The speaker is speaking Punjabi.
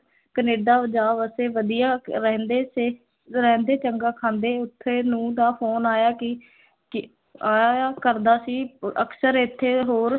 ਕਨੇਡਾ ਜਾ ਵਸੇ, ਵਧੀਆ ਰਹਿੰਦੇ ਤੇ ਰਹਿੰਦੇ ਚੰਗਾ ਖਾਂਦੇ, ਉੱਥੇ ਨੂੰਹ ਦਾ phone ਆਇਆ ਕਿ ਕਿ ਕਰਦਾ ਸੀ, ਅਕਸਰ ਇੱਥੇ ਹੋਰ